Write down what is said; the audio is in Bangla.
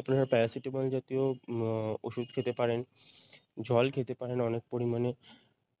আপনারা Paracetamol জাতীয় উম ওষুধ খেতে পারেন জল খেতে পারেন অনেক পরিমানে